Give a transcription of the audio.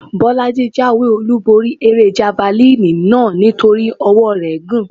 Bọ́lájí jáwé-olúborí eré javalínì náà nítorí ọwọ́ọ rẹ̀ gùn.